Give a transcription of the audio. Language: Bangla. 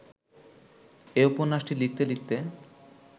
এ উপন্যাসটি লিখতে লিখতে